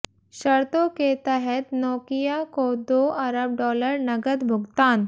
शर्तों के तहत नोकिया को दो अरब डॉलर नगद भुगतान